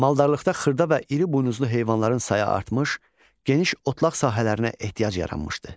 Maldarlıqda xırda və iri buynuzlu heyvanların sayı artmış, geniş otlaq sahələrinə ehtiyac yaranmışdı.